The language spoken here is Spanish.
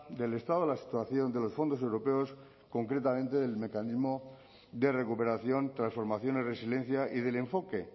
del estado de la situación de los fondos europeos concretamente del mecanismo de recuperación transformación y resiliencia y del enfoque